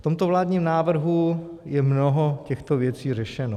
V tomto vládním návrhu je mnoho těchto věcí řešeno.